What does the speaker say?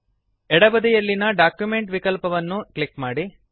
ಎಡ ಬದಿಯಲ್ಲಿನ ಡಾಕ್ಯುಮೆಂಟ್ ವಿಕಲ್ಪವನ್ನು ಅನ್ನು ಕ್ಲಿಕ್ ಮಾಡಿ